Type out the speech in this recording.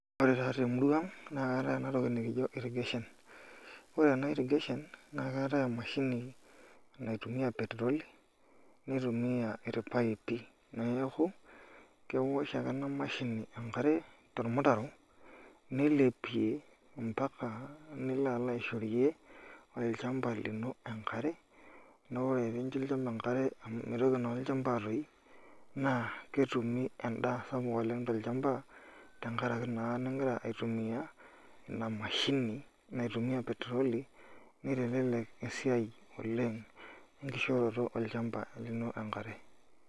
Ore taata temurua aang na keatae enatoki nikijo irkishin, ore ena irrigation na keetae emashini naitumia petroli nitumia irpaipi neaku kewosh ake enamashini enkare tormutaro nilepie ambaka nilo alo aishorie olchamba lino enkare na ore pincho olchamba enkare neaku melau ,neaku ketumi endaa sapuk tolchamba tenkaraki na ningira aitumia inamashini nagira aitumia petroli nitelek esiai we nkishooroto olchamba lino enkare .